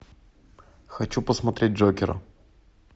хочу посмотреть джокера